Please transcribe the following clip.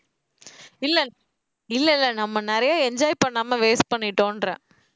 இல்ல இல்ல இல்ல நம்ம நிறைய enjoy பண்ணாம waste பண்ணிட்டோன்றேன்